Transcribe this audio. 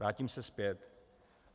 Vrátím se zpět.